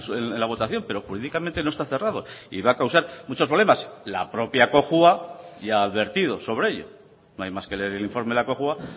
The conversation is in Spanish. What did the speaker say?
en la votación pero jurídicamente no está cerrado y va a causar muchos problemas la propia cojua ya ha advertido sobre ello no hay más que leer el informe de la cojua